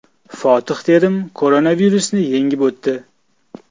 Fotih Terim koronavirusni yengib o‘tdi.